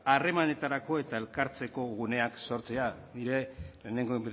harremanetarako eta elkartzeko guneak sortzea nire lehenengo